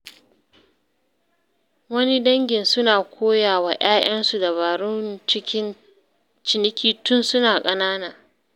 Wani dangin suna koya wa ‘ya’yansu dabarun ciniki tun suna ƙanana.